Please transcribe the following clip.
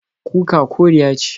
Kuka koriya ce.